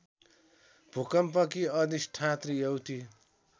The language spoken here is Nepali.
भूकम्पकी अधिष्ठात्री एउटी